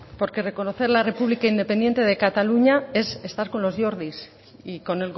porque reconocer la república independiente de cataluña es estar con los jordis y con